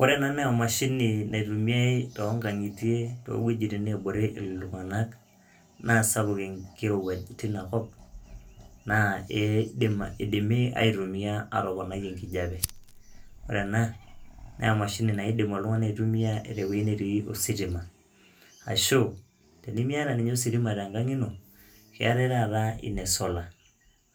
Ore ena naa emashini naitumiai too nkang'itie nabore iltung'anak naa sapuk enkirowuaj tina kop naa eidim idimi aitumia atoponai enkijape. Ore ena naa emashini nadimi oltung'ani aitumia tewoi natii ositima ashu tenimiata ninye ositima tenkang' ino keetai taata ine solar.